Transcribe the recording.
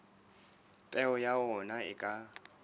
peo ya ona e ka